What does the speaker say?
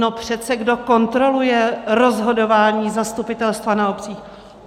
No přece kdo kontroluje rozhodování zastupitelstva na obcích?